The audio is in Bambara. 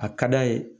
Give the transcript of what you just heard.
A ka d'a ye